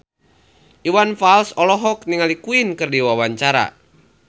Iwan Fals olohok ningali Queen keur diwawancara